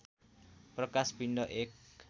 प्रकाश पिण्ड एक